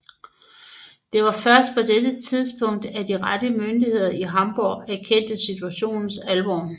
Det var først på dette tidspunkt at de rette myndigheder i Hamborg erkendte situationens alvor